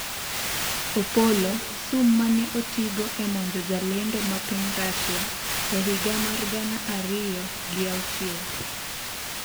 Opollo : sum mane otigo e monjo jalendo ma piny Rasia e higa mar gana ariyo gi auchiel